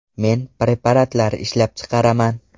Men preparatlar ishlab chiqaraman.